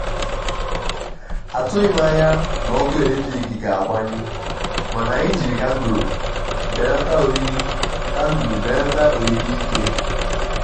àtụghí m ányá ná ọ́kụ́ élétrík gà-àgbányụ́ máná ànyị́ jírí kándụ́l bélátá órírí kándụ́l bélátá órírí íké.